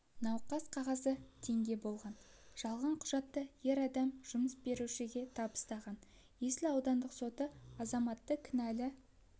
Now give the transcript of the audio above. науқас қағазы теңге болған жалған құжатты ер адам жұмыс берушіге табыстаған есіл аудандық соты азаматты кінәлі